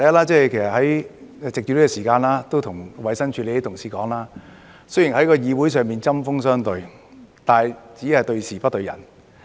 首先，我想藉此時間向衞生署的同事說，雖然我們在議會上針鋒相對，但只是對事不對人。